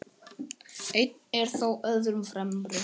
Einn er þó öðrum fremri.